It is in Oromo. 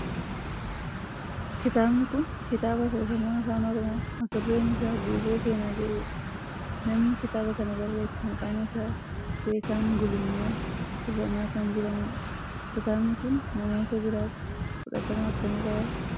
Kitaabni kun kitaaba asoosama afaan oromoo mata dureen isaa Guuboo seenaa jedhudha. Namni kitaaba kana barreesse maqaan isaa Beekan Gulummaa Irranaa kan jedhamudha. Kitaabni kun namoota biratti fudhatama akkamii qaba?